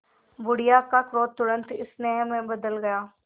बुढ़िया का क्रोध तुरंत स्नेह में बदल गया